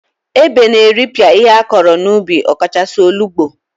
Ebe na-eripịa ihe akọrọ n'ubi ọkachasị, olugbo.